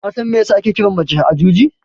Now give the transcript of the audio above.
Kasan mai yasa ake kiran mace Ajuji?